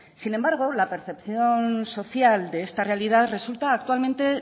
sin embargo la percepción social de esta realidad resulta actualmente